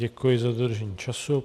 Děkuji za dodržení času.